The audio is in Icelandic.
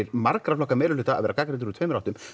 margra flokka meiri hluta að vera gagnrýndur úr tveimur áttum